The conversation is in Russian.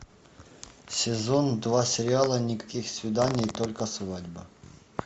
сезон два сериала никаких свиданий только свадьба